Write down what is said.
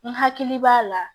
N hakili b'a la